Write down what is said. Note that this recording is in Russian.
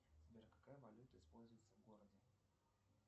сбер какая валюта используется в городе